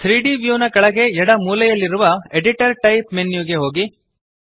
3ದ್ ವ್ಯೂ ನ ಕೆಳಗೆ ಎಡ ಮೂಲೆಯಲ್ಲಿರುವ ಎಡಿಟರ್ ಟೈಪ್ ಮೆನ್ಯು ಗೆ ಹೋಗಿ